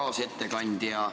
Hea kaasettekandja!